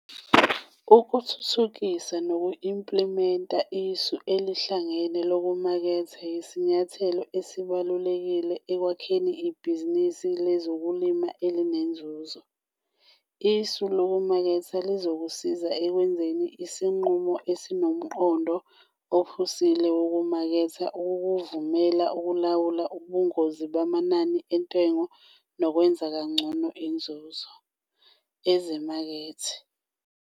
Ukuthuthukisa noku-implimenta isu elihlangene lokumaketha yisinyathelo ebalulekile eliya ekwakheni ibhizinisi lokulima elinenzuzo. Isu lokumaketha lizokusiza ekwenzeni isinqumo esinomqondo ophusile wokumaketha, ukukuvumela ukulawula ubungozi bamanani entengo nokwenza ngcono inzuzo. ezimakethe.